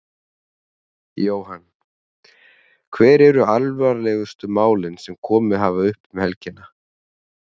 Jóhann: Hver eru alvarlegustu málin sem komið hafa upp um helgina?